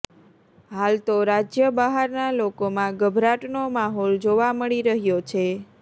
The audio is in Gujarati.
હાલ તો રાજ્ય બહારના લોકોમાં ગભરાટનો માહોલ જોવા મળી રહ્યો છે